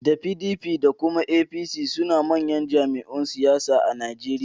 Da PDP da kuma APC sune manyan jam'iyun siyasa a Nijeriya